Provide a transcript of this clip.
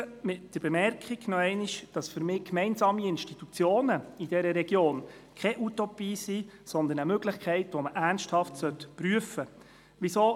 Ich schliesse mit der nochmaligen Bemerkung, dass für mich gemeinsame Institutionen in dieser Region keine Utopie sind, sondern eine Möglichkeit, die man ernsthaft prüfen sollte.